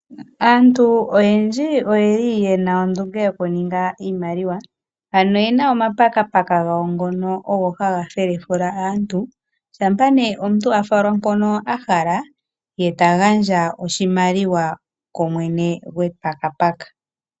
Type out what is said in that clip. Aantu oyendji oyeli yena ondunge yokuninga iimaliwa, ano oyena omapakapaka gowa ngono haga felefula aantu, shampa nee omuntu a falwa mpoka a hala ye ta gandja oshimaliwa kumwene gwepakapaka.